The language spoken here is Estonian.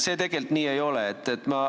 See tegelikult nii ei ole.